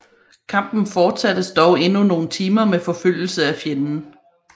Kampen fortsattes dog endnu nogle timer med forfølgelse af fjenden